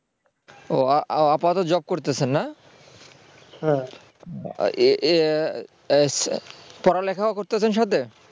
ও আহ আপাতত job করতেছেন না এর পড়ালেখাও করতেছেন সাথে